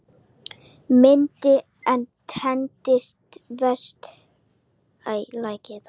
Myndin er tekin vestan Hvítárgljúfurs við Gullfoss.